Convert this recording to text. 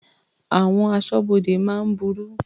Àwọn aṣọ́bodè máa ń burú.